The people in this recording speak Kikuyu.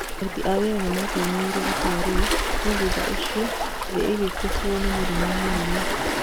Aruti a wĩra nĩmakenereire itua rĩu no thutha ũcio thĩ ĩgĩkũbuo ni mũrimo mũru